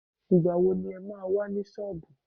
Ìgbà wo le ma wà ní sọọbù?